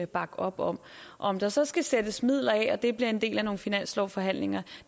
bakke op om om der så skal sættes midler af og det bliver en del af nogle finanslovsforhandlinger